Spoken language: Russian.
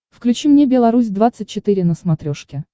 включи мне белорусь двадцать четыре на смотрешке